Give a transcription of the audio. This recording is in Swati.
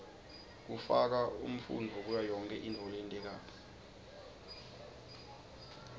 kufaka umfunto kuyoyonkhe intfo loyentako